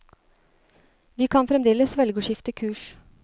Vi kan fremdeles velge å skifte kurs.